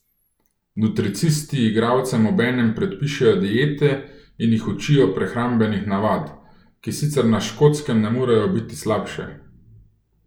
Nutricisti igralcem obenem predpišejo diete in jih učijo prehrambenih navad, ki sicer na Škotskem ne morejo biti slabše.